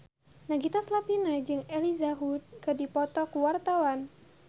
Nagita Slavina jeung Elijah Wood keur dipoto ku wartawan